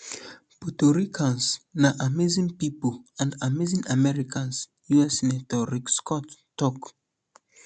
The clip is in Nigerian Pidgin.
puerto ricans na amazing pipo and amazing americans us senator rick scott tok